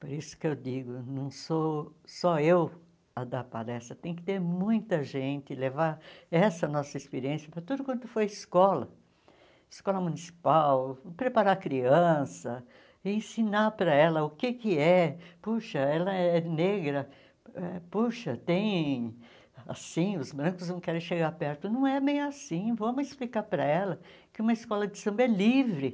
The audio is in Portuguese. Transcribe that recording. Por isso que eu digo, não sou só eu a dar palestra, tem que ter muita gente, levar essa nossa experiência para tudo quanto for escola, escola municipal, preparar criança, ensinar para ela o que que é, puxa, ela é negra, eh puxa, tem assim, os brancos não querem chegar perto, não é bem assim, vamos explicar para ela que uma escola de samba é livre.